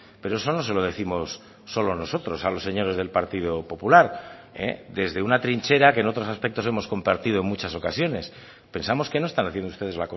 pero eso no se lo décimos solo nosotros a los señores del partido popular desde una trinchera que en otros aspectos hemos compartido en muchas ocasiones pensamos que no están haciendo ustedes